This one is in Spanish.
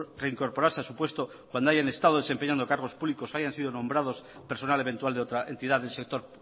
reincorporarse a su puesto cuando hayan estado desempeñando cargos públicos o hayan sido nombrados personal eventual de otra entidad del sector